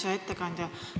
Hea ettekandja!